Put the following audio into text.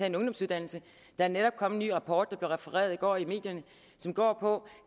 en ungdomsuddannelse der er netop kommet en ny rapport der blev refereret i går i medierne og som går på